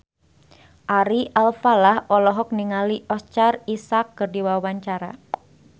Ari Alfalah olohok ningali Oscar Isaac keur diwawancara